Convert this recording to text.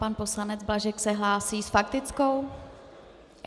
Pan poslanec Blažek se hlásí s faktickou?